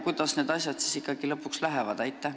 Kuidas need asjad siis nüüd lõpuks ikkagi lähevad?